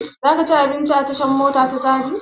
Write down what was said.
Za ka ci abinci a tashan mota ta jabi?